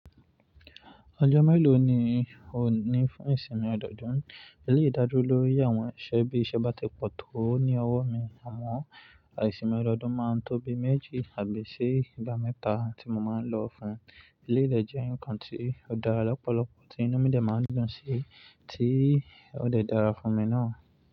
Ọjọ́ mélòó ni òní fún ìsinmi ọdọọdún? Eléyìí dájú lórí àwọn iṣẹ́ bí iṣẹ́ bá ti pọ̀ tó ní ọwọ́ mi àmọ́ ìsìnmi ọdọọdún máa ń tó bi méjì àbí i ṣe ìgbà mẹ́ta tí mo máa ń lọ fún. Eléyìí dẹ̀ jẹ́ nǹkan tí ó dára lọ́pọ̀lọpọ̀ tí inú mi dẹ̀ máa ń dùn sí tí ó dẹ̀ dára fún mi náà.